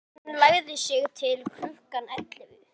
Hún lagði sig til klukkan ellefu.